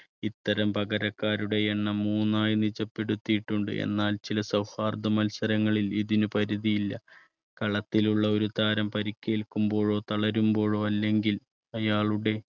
ഇത്തരം പകരക്കാരുടെ എണ്ണം മൂന്നായി നിജപ്പെടുത്തിയിട്ടുണ്ട്. എന്നാൽ ചില സൗഹാർദ്ദ മത്സരങ്ങളിൽ ഇതിന് പരിധിയില്ല കളത്തിലുള്ള ഒരു താരം പരിക്കേൽക്കുമ്പോഴോ തളരുമ്പോഴോ അല്ലെങ്കിൽ അയാളുടെ